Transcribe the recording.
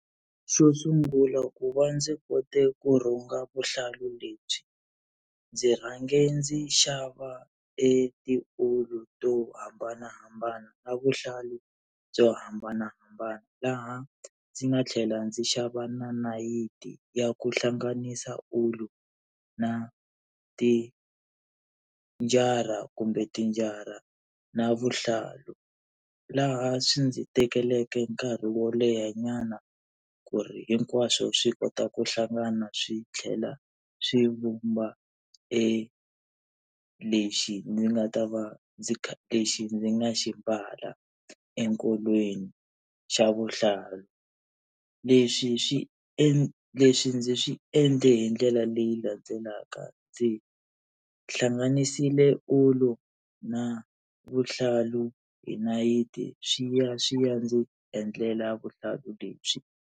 Xo sungula ku va ndzi kote ku rhunga vuhlalu lebyi ndzi rhange ndzi xava e tiwulu to hambanahambana na vuhlalu byo hambanahambana laha ndzi nga tlhela ndzi xava na nayiti ya ku hlanganisa ulu na tinjara kumbe tinjara na vuhlalu. Laha swi ndzi tekeleke nkarhi wo lehanyana ku ri hinkwaswo swi kota ku hlangana swi tlhela swi vumba e lexi ndzi nga ta va ndzi kha lexi ndzi nga xi mbala enkolweni xa vuhlalu. Leswi swi endla leswi ndzi swi endle hi ndlela leyi landzelaka ndzi hlanganisile ulu na vuhlalu hi nayiti swi ya swi ya ndzi endlela vuhlalu lebyi.